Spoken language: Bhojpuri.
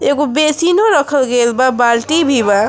एगो बेसिनों रखल गइल बा बाल्टी भी बा।